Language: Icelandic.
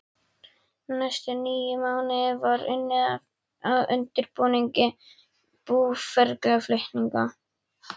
Næstu níu mánuði var unnið að undirbúningi búferlaflutninga.